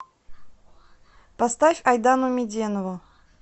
поставь айдану меденову